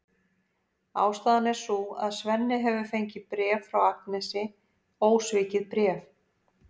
Ástæðan er sú að Svenni hefur fengið bréf frá Agnesi, ósvikið bréf!